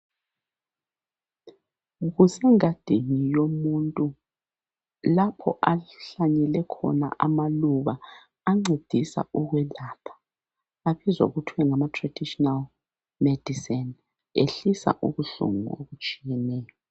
Kusengadini yomuntu lapho ahlanyele khona amaluba ancedisa ukwelapha. Abizwa kuthiwe ngama"traditional medicine ",ehlisa ubuhlungu obutshiyeneyo.